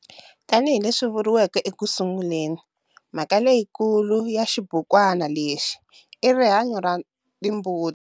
Tani hi leswi vuriveke eku sunguleni, mhaka leyiikulu ya xibukwana lexi i rihanyo ra timbuti.